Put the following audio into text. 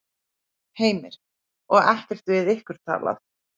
Heimir: Og ekkert við ykkur talað?